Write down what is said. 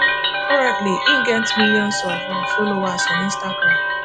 currently im get miilions of of followers on instagram